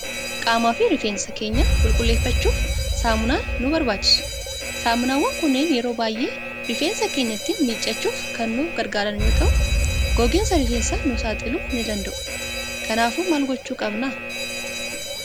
Qaamaa fi rifeensa keenya qulqulleeffachuuf saamunaan nu barbaachisu. Saamunaawwan kunneen yeroo baay'ee rifeensa keenya ittiin miiccachuuf kan nu gargaaran yoo ta'u, gogiinsa rifeensaaf nu saaxiluu ni danda'u. Kanaafuu maal gochuu qabna?